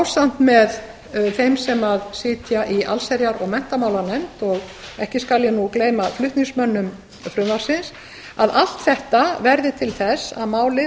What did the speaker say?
ásamt með þeim sem sitja í allsherjar og menntamálanefnd og ekki skal ég gleyma flutningsmönnum frumvarpsins að allt þetta verði til þess að málið